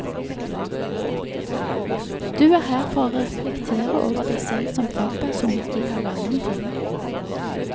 Du er her for å reflektere over deg selv som fagperson i halvannen time.